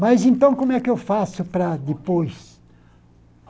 Mas então, como é que eu faço para depois?